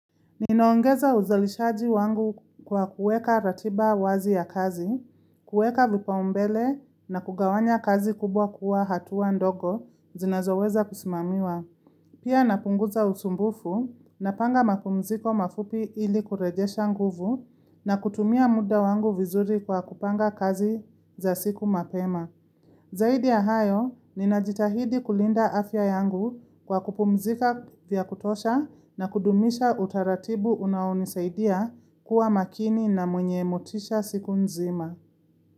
Ninaongeza uzalishaji wangu kwa kuweka ratiba wazi ya kazi, kuweka vipaombele na kugawanya kazi kubwa kuwa hatuwa ndogo zinazoweza kusimamiwa. Pia napunguza usumbufu napanga mapumziko mafupi ili kurejesha nguvu na kutumia muda wangu vizuri kwa kupanga kazi za siku mapema. Zaidi ya hayo, ninajitahidi kulinda afya yangu kwa kupumzika vya kutosha na kudumisha utaratibu unaonisaidia kuwa makini na mwenye motisha siku nzima.